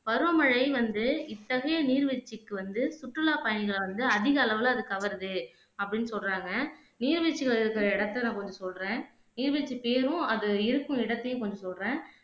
பருவமழை வந்து இத்தகைய நீர்வீழ்ச்சிக்கு வந்து சுற்றுலா பயணிகளானது அதிக அளவுல அது கவருது அப்படின்னு சொல்லுறாங்க நீர்வீழ்ச்சிள் இருக்குற இடத்தை நான் கொஞ்சம் சொல்லுறேன் நீர்வீழ்ச்சி பேரும் அது இருக்கும் இடத்தையும் கொஞ்சம் சொல்லுறேன்